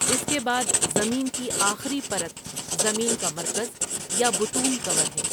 اس کے بعد زمين کی آخری پرت زمين کا مرکز یا بطون کور ہے ۔